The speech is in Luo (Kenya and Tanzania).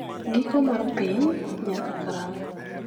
Giko mar Piny - ?Nyaka Karang'o?